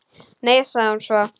Nei, sagði hún svo.